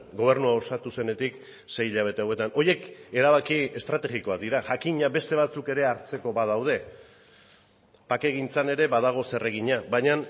gobernua osatu zenetik sei hilabete hauetan horiek erabaki estrategikoak dira jakina beste batzuk ere hartzeko badaude bakegintzan ere badago zeregina baina